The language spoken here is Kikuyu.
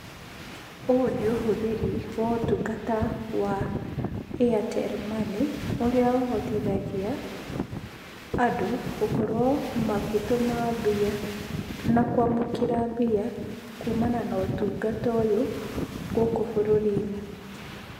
Ũyũ nĩ ũhũthĩri wa ũtungata wa Airtel Money, ũrĩa ũhotithagia andũ gũkorwo makĩtũma mbia na kwamũkĩra mbia kumana na ũtungata ũyũ gũkũ bũrũri-inĩ.